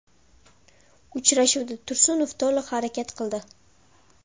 Uchrashuvda Tursunov to‘liq harakat qildi.